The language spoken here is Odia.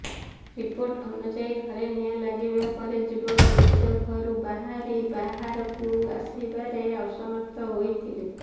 ରିପୋର୍ଟ ଅନୁଯାୟୀ ଘରେ ନିଆଁ ଲାଗିବା ପରେ ଯୁବକ ନିଜ ଘରୁ ବାହାରି ବାହାରକୁ ଆସିବାରେ ଅସମର୍ଥ ହୋଇଥିଲେ